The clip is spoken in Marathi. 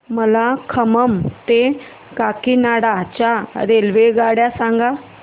मला खम्मम ते काकीनाडा च्या रेल्वेगाड्या सांगा